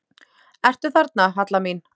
Ertu þarna, Halla mín?